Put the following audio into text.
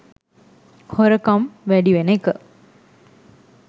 හොරකම් වැඩි වෙන එක